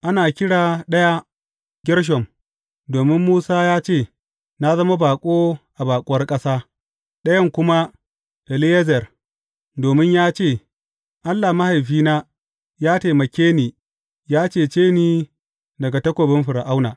Ana kira ɗaya Gershom, domin Musa ya ce, Na zama baƙo a baƙuwar ƙasa; ɗayan kuma Eliyezer, domin ya ce, Allah mahaifina ya taimake ni ya cece ni daga takobin Fir’auna.